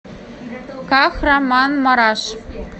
кахраманмараш